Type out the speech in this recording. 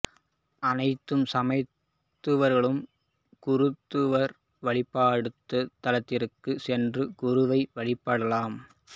அனைத்து சமயத்தவர்களும் குருத்துவார் வழிபாட்டுத் தலத்திற்குச் சென்று குருவை வழிபடலாம்